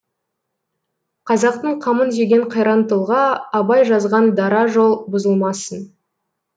қазақтың қамын жеген қайран тұлға абай жазған дара жол бұзылмасын